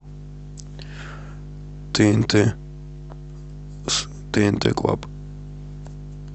тнт тнт клаб